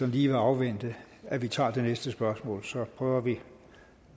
lige vil afvente at vi tager det næste spørgsmål så prøver vi